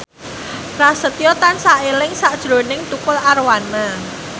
Prasetyo tansah eling sakjroning Tukul Arwana